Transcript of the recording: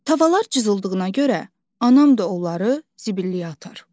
Tavalar cızıldığına görə, anam da onları zibilliyə atar.